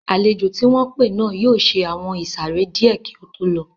Àlejò tí wọ́n pé náà yóò ṣe àwọn ìsàrẹ́ díẹ̀ kí ó tó lọ